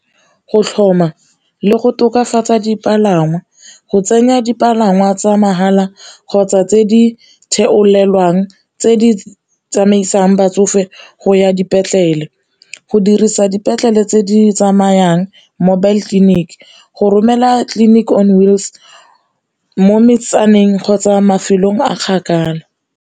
Go tlhoma le go tokafatsa dipalangwa go tsenya dipalangwa tsa mahala kgotsa tse di tse di tsamaisang batsofe go ya dipetlele, go dirisa dipetlele tse di tsamayang mobile clinic, go romela clinic mo metsaneng kgotsa mafelong a kgakala.